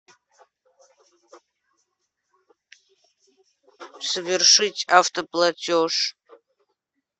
совершить автоплатеж